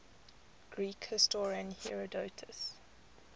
greek historian herodotus